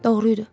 Doğru idi.